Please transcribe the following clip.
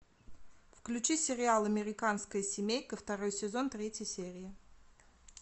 включи сериал американская семейка второй сезон третья серия